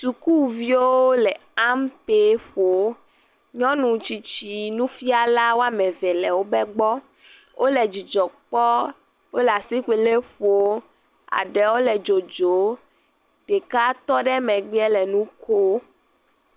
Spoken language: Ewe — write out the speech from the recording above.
Sukuviwo le ampe ƒom. Nyɔnu tsitsi nufiala wɔme eve le wobe gbɔ. Wo le dzidzɔ kpɔm, wo le asikpoli ƒom. Eɖewo le dzodzom. Ɖeka tɔ ɖe megbea wo le nu kom.